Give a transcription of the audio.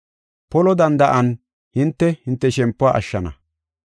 Polo danda7an hinte, hinte shempuwa ashshana.”